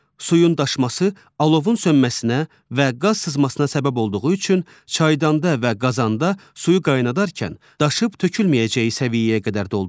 Suyun daşması, alovun sönməsinə və qaz sızmasına səbəb olduğu üçün çaydanda və qazanda suyu qaynadarkən daşıb tökülməyəcəyi səviyyəyə qədər doldurun.